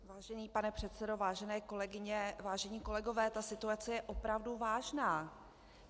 Vážený pane předsedo, vážené kolegyně, vážení kolegové, ta situace je opravdu vážná!